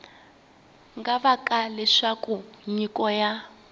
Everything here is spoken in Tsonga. nga vanga leswaku nyiko ya